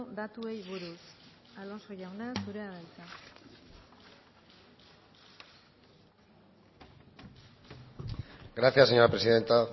datuei buruz alonso jauna zurea da hitza gracias señora presidenta